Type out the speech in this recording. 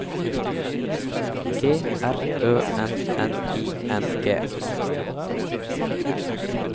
G R Ø N N I N G